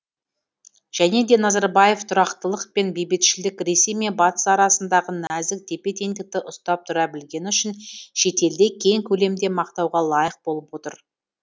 және де назарбаев тұрақтылық пен бейбітшілік ресей мен батыс арасындағы нәзік тепе теңдікті ұстап тұра білгені үшін шетелде кең көлемде мақтауға лайық болып отыр